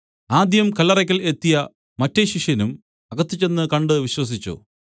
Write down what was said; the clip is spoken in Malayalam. ആദ്യം കല്ലറയ്ക്കൽ എത്തിയ മറ്റെ ശിഷ്യനും അപ്പോൾ അകത്ത് ചെന്ന് കണ്ട് വിശ്വസിച്ചു